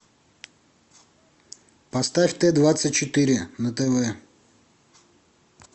поставь т двадцать четыре на тв